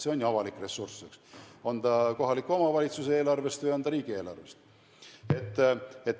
See on ju avalik ressurss, eks, on ta kohaliku omavalitsuse eelarvest või on ta riigieelarvest.